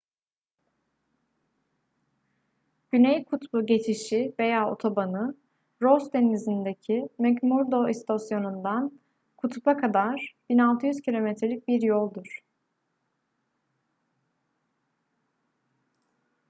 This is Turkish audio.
güney kutbu geçişi veya otobanı ross denizi'ndeki mcmurdo i̇stasyonu'ndan kutup'a kadar 1600 km'lik bir yoldur